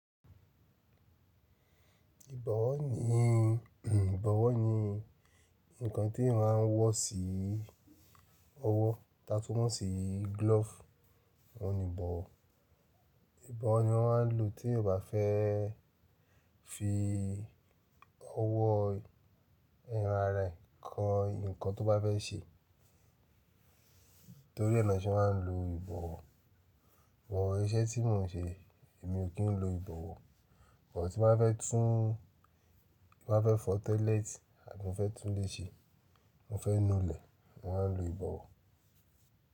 Ìbọ̀wọ́ ni, ìbọ̀wọ́ ni nǹkan tí màá ń wọ̀ sí ọwọ́, tatú mọn sí glove oní ìbọ̀wọ̀. Ìbọ̀wọ́ ni wọ́n máa ń lò tí o kò fẹ́ fi ọwọ́ ẹran rẹ kan nǹkan tó bá fẹ́ ṣe. Nítorí ẹni wọn ṣe máa ń lo ìbọ̀wọ́. But iṣẹ́ tí mò ń ṣe èmi ò kí ń lo ìbọ̀wọ́. But tí n bá fẹ́ tún, bá fẹ́ fọ toilet abi mo fẹ́ tún ilé ṣe, wọ́n fẹ́ nu ilẹ̀ wọ́n máa ń lo ìbọ̀wọ́.